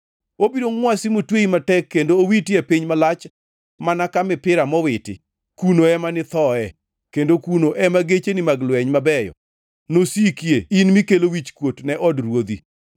Obiro ngʼwasi motweyi matek kendo owiti e piny malach mana ka mipira mowiti. Kuno ema nithoe, kendo kuno ema gecheni mag lweny mabeyo nosikie in mikelo wichkuot ne od ruodhi.